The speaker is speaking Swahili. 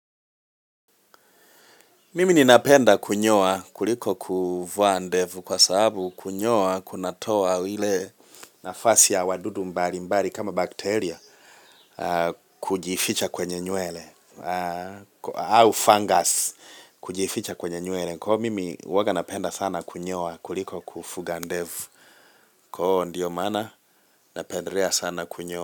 Mimi ni napenda kunyoa kuliko kuvaa ndevu kwa sababu kunyoa kunatoa ile nafasi ya wadudu mbali mbali kama bakteria kujificha kwenye nywele au fungus kujificha kwenye nywele Kwa iyo mimi huwaga napenda sana kunyoa kuliko kufuga ndevu Kwa huo ndiyo mana napendelea sana kunyoa.